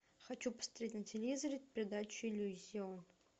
хочу посмотреть на телевизоре передачу иллюзион